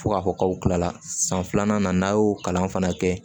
Fo k'a fɔ k'aw kilala san filanan na n'a y'o kalan fana kɛ